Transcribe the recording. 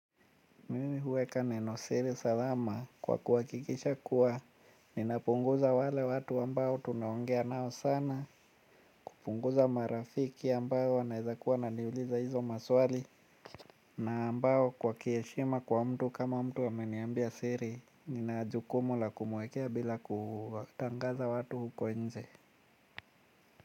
Mimi huweka nenosiri salama kwa kuhakikisha kuwa ninapunguza wale watu ambao tunaongea nao sana. Kupunguza marafiki ambao wanaweza kuwa wananiuliza hizo maswali na ambao kwa kiheshima kwa mtu kama mtu ameniambia siri, nina jukumu la kumwekea bila kutangaza watu huko nje.